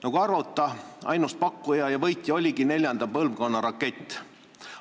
Nagu arvata, oligi ainus pakkuja ja võitja see, kes pakub neljanda põlvkonna rakette.